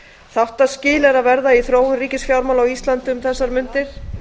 þáttaskil eru að verða í þróun ríkisfjármála á íslandi um þessar mundir